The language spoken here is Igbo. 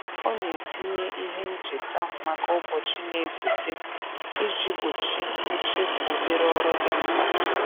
Ọ na-etinye ihe ncheta maka ụbọchị na-esote iji gbochi nchefu obere ọrụ dị mkpa.